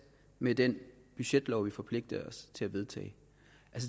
med den budgetlov vi forpligter os til at vedtage